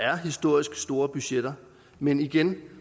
er historisk store budgetter men igen